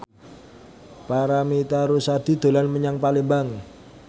Paramitha Rusady dolan menyang Palembang